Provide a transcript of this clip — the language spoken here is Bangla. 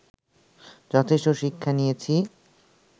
যথেষ্ট শিক্ষা নিয়েছি